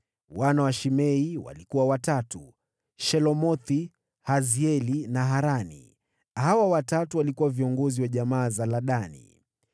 Wana wa Shimei walikuwa watatu: Shelomothi, Hazieli na Harani. Hawa watatu walikuwa viongozi wa jamaa za Ladani.